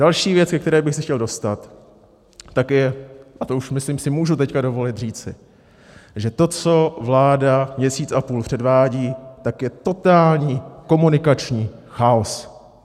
Další věc, ke které bych se chtěl dostat, tak je, a to už myslím si, můžu teď dovolit říci, že to, co vláda měsíc a půl předvádí, tak je totální komunikační chaos.